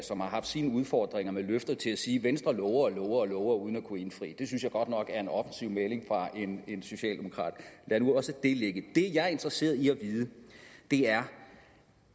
som har haft sine udfordringer med løfter til at sige at venstre lover lover og lover uden at kunne indfri det det synes jeg godt nok er en offensiv udmelding fra en socialdemokrat lad nu også det ligge det jeg er interesseret i at vide er